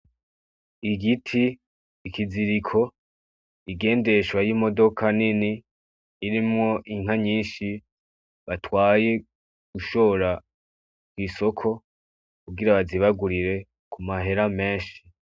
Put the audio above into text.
Igiti, ikiziriko, igendeshwa y'imodoka nini irimwo inka nyinshi batwaye gushora mw'isoko kugira bazibagurire ku mahera menshi.